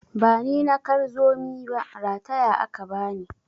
Bani na kar zomi ba, rataya aka bani.